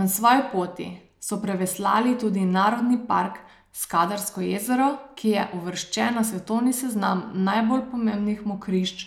Na svoji poti so preveslali tudi Narodni park Skadarsko jezero, ki je uvrščen na svetovni seznam najbolj pomembnih mokrišč